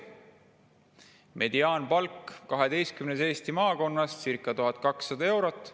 Mediaanpalk kaheteistkümnes Eesti maakonnas on circa 1200 eurot.